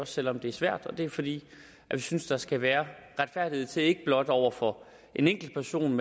selv om det er svært og det er fordi vi synes der skal være retfærdighed til ikke blot over for en enkeltperson